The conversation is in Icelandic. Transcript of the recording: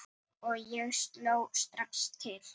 Og ég sló strax til.